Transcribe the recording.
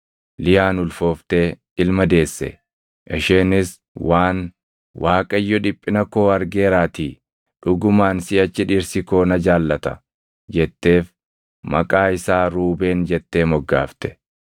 Liyaan ulfooftee ilma deesse. Isheenis waan, “ Waaqayyo dhiphina koo argeeraatii dhugumaan siʼachi dhirsi koo na jaallata” jetteef maqaa isaa Ruubeen jettee moggaafte.